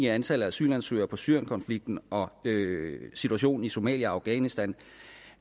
antallet af asylansøgere på syrienkonflikten og situationen i somalia og i afghanistan